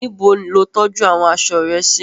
Níbo lo tọ́jú àwọn aṣọ rẹ sí?